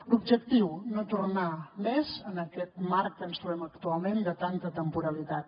l’objectiu no tornar més en aquest marc que ens trobem actualment de tanta temporalitat